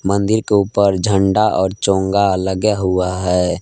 मंदिर के ऊपर झंडा और चोंगा लगा हुआ है।